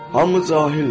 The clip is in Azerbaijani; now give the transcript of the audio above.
Hamı cahildir.